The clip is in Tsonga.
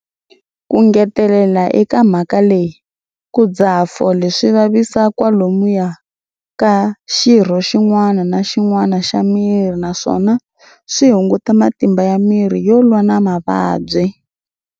Ku ngetela eka mhaka leyi, ku dzaha fole swi vavisa kwalomuya ka xirho xin'wana na xin'wana xa miri naswona swi hunguta matimba ya miri yo lwa na mavabyi.